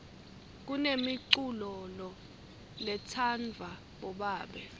kunemiculolo letsanvwa bobabe